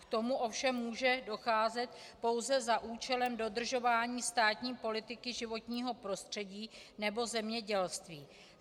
K tomu ovšem může docházet pouze za účelem dodržování státní politiky životního prostředí nebo zemědělství.